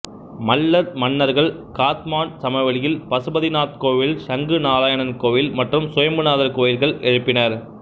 மல்லர் மன்னர்கள் காத்மாண்டு சமவெளியில் பசுபதிநாத் கோவில் சங்கு நாராயணன் கோயில் மற்றும் சுயம்புநாதர் கோயில்கள் எழுப்பினர்